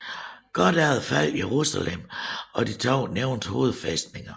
Kort efter faldt Jerusalem og de to nævnte hovedfæstninger